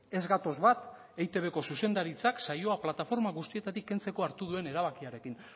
ez gatoz bat eitbko zuzendaritzak saioa plataforma guztietatik kentzeko hartu duen erabakiarekin